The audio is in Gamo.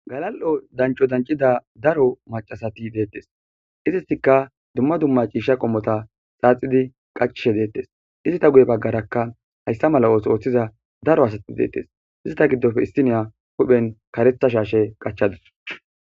Galal'o dancho dancida daro macasati deettes izisikka dumma dumma ciisha qommota xaaxidi qaccishe deettes izita guye baggarakka hayssa mala'os ooththiza daro asati deettes izita giddofe istiniya huphen karetha shaashe qachadus.